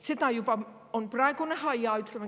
Seda on juba praegu näha.